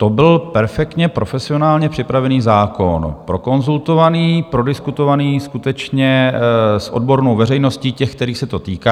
To byl perfektně profesionálně připravený zákon, prokonzultovaný, prodiskutovaný skutečně s odbornou veřejností, těmi, kterých se to týká.